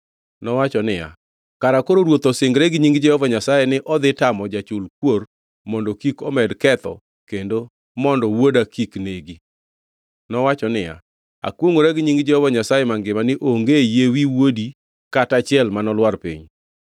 Nowacho niya, “Kara koro ruoth osingre gi nying Jehova Nyasaye ni odhi tamo jachul kuor mondo kik omed ketho kendo mondo wuoda kik negi.” Nowacho niya, “Akwongʼora gi nying Jehova Nyasaye mangima ni onge yie wi wuodi kata achiel manolwar piny.”